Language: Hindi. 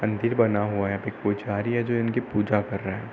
मंदिर बना हुआ है यहाँ पे एक पुजारी है जो इनकी पूजा कर रहा है।